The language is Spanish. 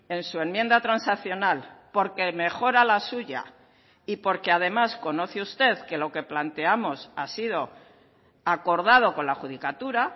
en su enmienda transaccional porque mejora la suya y porque además conoce usted que lo que planteamos ha sido acordado con la judicatura